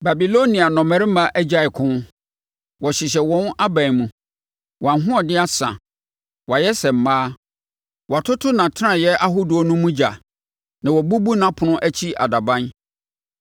Babilonia nnɔmmarima agyae ko; wɔhyehyɛ wɔn aban mu. Wɔn ahoɔden asa; wɔayɛ sɛ mmaa. Wɔatoto nʼatenaeɛ ahodoɔ no mu ogya, na wɔabubu nʼapono akyi adaban.